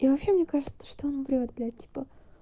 и вообще мне кажется что он врёт блядь типа